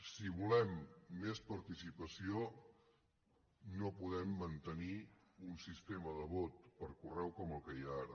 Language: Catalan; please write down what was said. si volem més participació no podem mantenir un sistema de vot per correu com el que hi ha ara